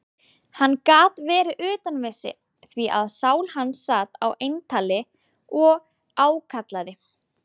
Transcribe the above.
Hann gat verið utan við sig, því að sál hans sat á eintali og ákallaði